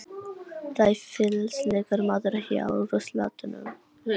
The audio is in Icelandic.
Ræfilslegur maður hjá ruslatunnum.